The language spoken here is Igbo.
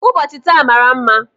Ụbọchị taa mmara mma.